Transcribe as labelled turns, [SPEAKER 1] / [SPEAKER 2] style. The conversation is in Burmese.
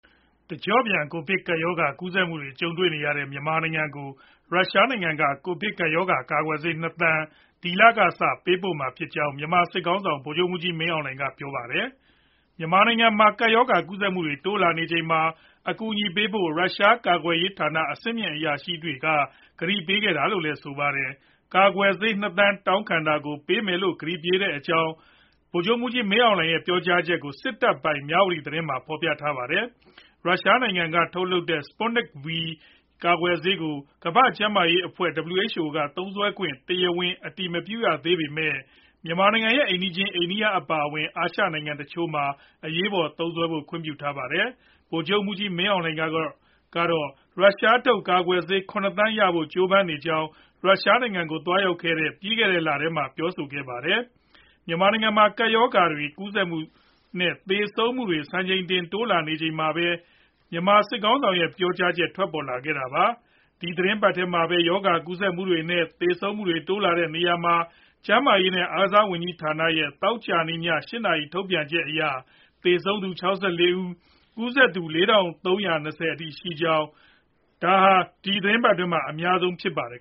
[SPEAKER 1] တကျော့ပြန် ကိုဗစ်ကပ်ရောဂါ ကူးစက်မှုတွေ ကြုံနေရတဲ့ မြန်မာနိုင်ငံကို ရုရှားနိုင်ငံက ကိုဗစ်ကပ်ရောဂါ ကာကွယ်ဆေး ၂ သန်း ဒီလကစ ပေးပို့မှာဖြစ်ကြောင်း မြန်မာစစ်ခေါင်းဆောင် ဗိုလ်ချုပ်မှူးကြီး မင်းအောင်လှိုင် ကပြောလိုက်ပါတယ်။ မြန်မာနိုင်ငံမှာ ကပ်ရောဂါ ကူးစက်မှုတွေ တိုးလာနေချိန်မှာ အကူအညီပေးဖို့ ရုရှားကာကွယ်ရေးဌာန အဆင့်မြင့် အရာရှိတွေက ကတိပေးခဲ့တာလို့လည်း ဆိုပါတယ်။ ကာကွယ်ဆေး ၂ သန်း တောင်းခံတာကို ပေးမယ်လို့ ကတိပေးခဲ့တဲ့အကြောင်း ဗိုလ်ချုပ်မှူးကြီး မင်းအောင်လှိုင် ရဲ့ ပြောကြားချက်ကို စစ်တပ်ပိုင် မြဝတီသတင်းမှာ ဖော်ပြပါတယ်။ ရုရှားနိုင်ငံက ထုတ်လုပ်တဲ့ Sputnik V ကာကွယ်ဆေးကို ကမ္ဘာ့ကျန်းမာရေးအဖွဲ့ (WHO) က သုံးစွဲခွင့် တရားဝင် အတည်မပြုသေးပေမဲ့ မြန်မာနိုင်ငံရဲ့ အိမ်နီးချင်း အိန္ဒိယနိုင်ငံ အပါအဝင် အာရှနိုင်ငံတချို့မှာ အရေးပေါ် သုံးစွဲဖို့ ခွင့်ပြုထားပါတယ်။ ဗိုလ်ချုပ်မှူးကြီး မင်းအောင်လှိုင်ကတော့ ရုရှားထုတ် ကာကွယ်ဆေး ၇ သန်းရဖို့ ကြိုးပမ်းနေကြောင်း ရုရှားနိုင်ငံကို သွားရောက်ခဲ့တဲ့ ပြီးခဲ့တဲ့လထဲမှာပဲ ပြောဆိုထားပါတယ်။ မြန်မာနိုင်ငံမှာ ကပ်ရောဂါ ကူးစက်မှုတွေနဲ့ သေဆုံးမှုတွေ စံချိန်တင် တိုးလာနေချိန်မှာပဲ မြန်မာစစ်ခေါင်းဆောင်ရဲ့ ပြောဆိုချက် ထွက်ပေါ်လာတာပါ။ ဒီသီတင်းပတ်ထဲမှာပဲ ရောဂါကူးစက်မှုတွေနဲ့ သေဆုံးမှုတွေ တိုးလာနေရာမှာ၊ ကျန်းမာရေးနဲ့ အားကစားဝန်ကြီးဌာနရဲ့ သောကြာနေ့ ည ၈ နာရီ ထုတ်ပြန်ချက်အရ သေဆုံးသူ ၆၄ ယောက်နဲ့ ကူးစက်သူ ၄၃၂၀ အထိ ရှိခဲ့တာကြောင့် တပတ်အတွင်း အများဆုံးလည်း ဖြစ်ခဲ့ပါတယ်